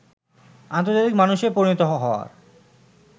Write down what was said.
আন্তর্জাতিক মানুষে পরিণত হওয়ার